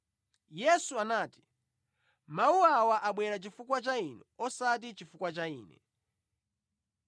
Yesu anati, “Mawu awa abwera chifukwa cha inu osati chifukwa cha Ine.